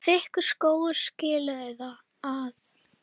Þykkur skógur skilur þau að.